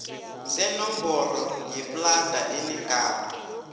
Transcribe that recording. senomboro yeplada enegama